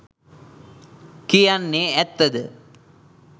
කියන්නෙ ඇත්ත ද?